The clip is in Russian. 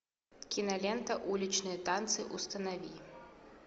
кинолента уличные танцы установи